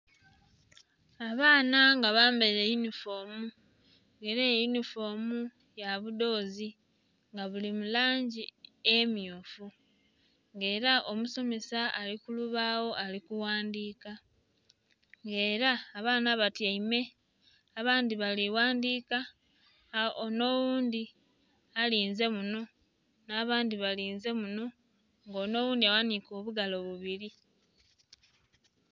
Abaana nga bambaire yunifoomu era eyunifoimu ya budhozi nga buli mulangi emyufu era omusomesa ali ku olubagho ali ku ghandhika nga era abaana batyaime abandhi bali kughandhika nga onho oghundhi alinze muno na bandhi balinze munho nga onho oghundhi aghanhike obugalo bubiri.